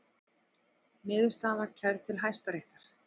Niðurstaðan var kærð til Hæstaréttar